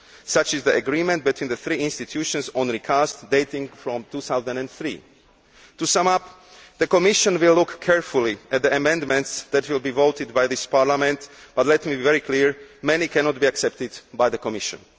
Such is the agreement between the three institutions on recasting, which dates from 2003. To sum up the Commission will look carefully at the amendments that will be voted by this Parliament but, let me be very clear, many cannot be accepted by the Commission.